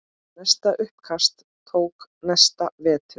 Næsta uppkast tók næsta vetur.